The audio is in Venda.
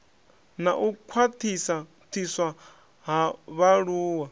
na u khwaṱhiswa ha vhaaluwa